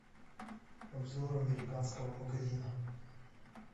обзор американского магазина